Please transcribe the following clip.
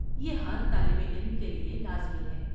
یہ ہر طالب علم کے لیے لازمی ہے۔